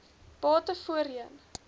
bate voorheen